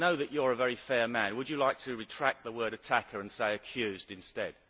I know that you are a very fair man so would you like to retract the word attacker' and say accused' instead?